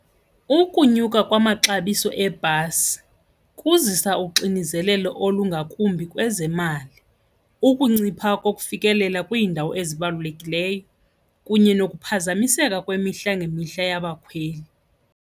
Ukunyuka kwamaxabiso ebhasi kuzisa uxinizelelo olungakumbi kwezemali, ukuncipha kokufikelela kwiindawo ezibalulekileyo kunye nokuphazamiseka kwemihla ngemihla yabakhweli.